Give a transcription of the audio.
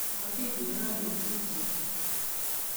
Motikurenon nekitubche